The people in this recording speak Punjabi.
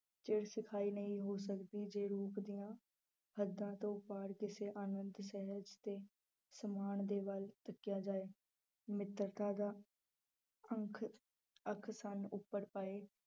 ਨਹੀਂ ਹੋ ਸਕਦੀ ਜੇ ਰੂਪ ਦੀਆਂ ਹੱਦਾਂ ਤੋਂ ਪਾਰ ਕਿਸੇ ਆਨੰਤ ਸਹਿਜ ਤੇ ਸਮਾਨ ਦੇ ਵੱਲ ਤੱਕਿਆ ਜਾਏ, ਮਿੱਤਰਤਾ ਦਾ ਅੰਖ ਉਪਰ ਪਏ